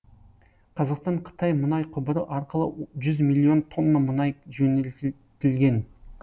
қазақстан қытай мұнай құбыры арқылы жүз миллион тонна мұнай жөнелтілген